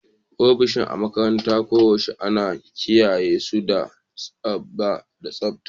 Ofisoshi a makarantara koyaushe ana kiyaye su da tsabta da tsabta